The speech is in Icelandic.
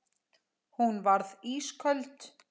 Hún varð ísköld.